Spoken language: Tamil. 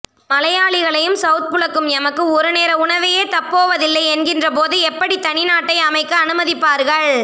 மலையாளிகளையும் செளத் புளக்கும் எமக்கு ஒரு நேர உணவையே தப்போவதில்லை என்கின்றபோது எப்படி தனிநாட்டை அமைக்க அனுமதிப்பார்கள்